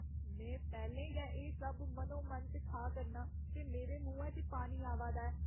में पैह्‌लें गै एह् सब मनोमन च खा करनां ते मेरे मुहैं च पानी आवा दा ऐ।